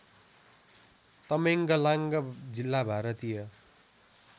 तमेङ्गलाँन्ग जिल्ला भारतीय